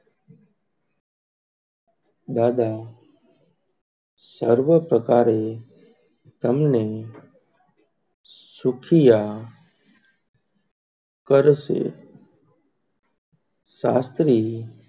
દાદા સર્વ પ્રકારે તમને સુખિયા કરસે શાસ્ત્રી